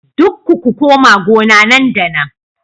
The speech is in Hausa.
Dukku ku koma gona nan da nan